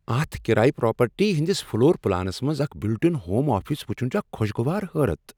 اتھ کرایہ پراپرٹی ہٕنٛدس فلور پلانس منٛز اکھ بلٹ ان ہوم آفس وٕچھن چھ اکھ خوشگوار حیرت۔